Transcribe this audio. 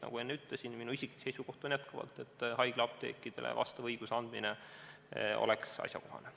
Nagu enne ütlesin, minu isiklik seisukoht on jätkuvalt see, et haiglaapteekidele vastava õiguse andmine oleks asjakohane.